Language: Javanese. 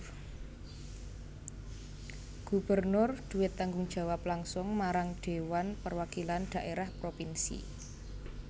Gubernur duwé tanggung jawab langsung marang Dhéwan Perwakilan Dhaérah Propinsi